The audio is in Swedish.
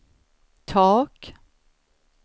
tak